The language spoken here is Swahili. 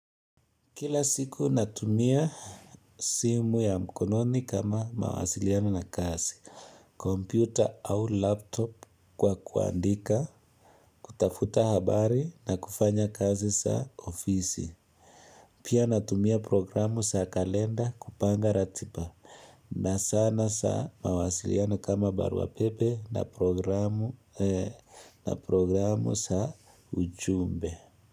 Kila siku natumia simu ya mkononi kama mawasiliano na kazi, kompyuta au laptop kwa kuandika, kutafuta habari na kufanya kazi za ofisi. Pia natumia programu za kalenda kupanga ratiba na zana za mawasiliano kama baruapepe na programu na programu za ujumbe.